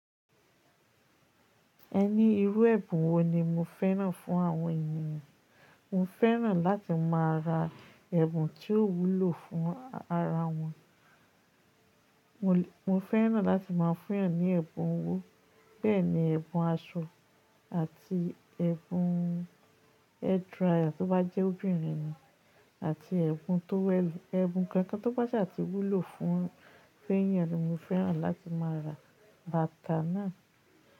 Ẹní irú ẹ̀bùn wo ni mo fẹ́ràn fún àwọn ènìyàn? Mo fẹ́ràn láti má a ra ẹ̀bùn tí ó wúlò fún ara wọn. Mo, mo fẹ́ràn láti má a fún ẹ ní ẹ̀bùn owó. Bẹ́ẹ̀ ni ẹ̀bùn aṣọ àti ẹ̀bùn hairdryer tí ó bá jẹ́ obìnrin ni àti ẹ̀bùn towel, ẹ̀bùn kankan tó bá ṣa ti wúlò fún èèyàn ni mo fẹ́ràn láti má a ra. Bata náà.